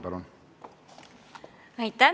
Palun!